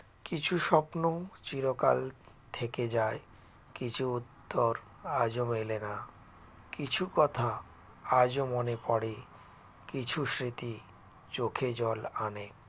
কিছু স্বপ্ন চিরকাল থেকে যায় কিছু উত্তর আজও মেলা না কিছু কথা আজও মনে পড়ে কিছু স্মৃতি চোখে জল আনে